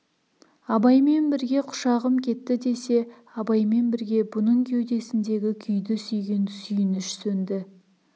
абаймен бірге құшағым кетті десе абаймен бірге бұның кеудесіндегі күйді сүйген сүйініш сөнді